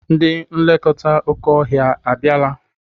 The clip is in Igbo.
Ndị nlekọta oké ọhịa a bịala?